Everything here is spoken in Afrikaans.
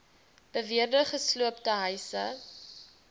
beweerde gesloopte huise